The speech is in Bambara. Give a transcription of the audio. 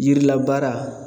Yirilabaara